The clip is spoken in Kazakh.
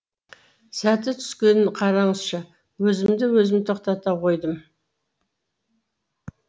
сәті түскенін қараңызшы өзімді өзім тоқтата қойдым